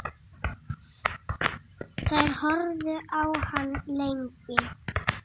Þær horfðu á hann lengi.